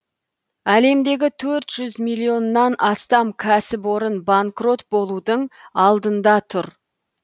әлемдегі төрт жүз миллионнан астам кәсіпорын банкрот болудың алдында тұр